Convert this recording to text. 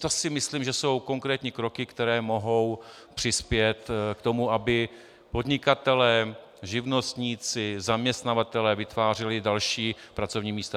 To si myslím, že jsou konkrétní kroky, které mohou přispět k tomu, aby podnikatelé, živnostníci, zaměstnavatelé vytvářeli další pracovní místa.